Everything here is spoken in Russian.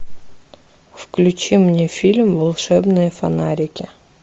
включи мне фильм волшебные фонарики